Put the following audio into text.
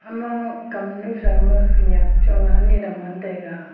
ama kamnu thauma khenyak chong ani adam ngantaiga.